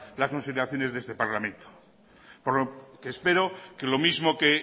las consideraciones de este parlamento por lo que espero que lo mismo que